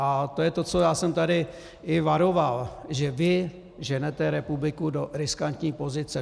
A to je to, co já jsem tady i varoval, že vy ženete republiku do riskantní pozice.